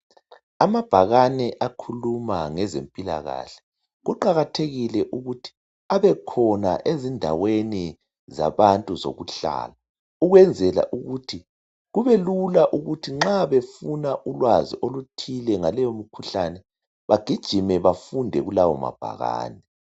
Amabhakane akhuluma ngezempilakahle, kuqakathekile ukuthi abe khona ezindaweni zabantu zokuhlala ukwenzela ukuthi kubelula ukuthi nxa befuna ulwazi oluthile ngaleyo mkhuhlane bagijime bafunde kulawo mabhakane.